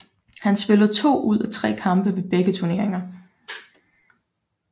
Han spillede to ud af tre kampe ved begge turneringer